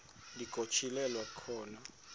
ndi nokutyhilelwa khona